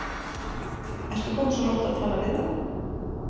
Ertu kominn svo langt að tala við þá?